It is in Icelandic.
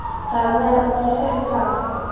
Þar með var ég settur af.